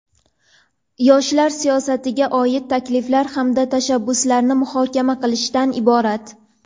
yoshlar siyosatiga oid takliflar hamda tashabbuslarni muhokama qilishdan iborat.